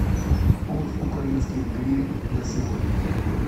курс украинских гривен на сегодня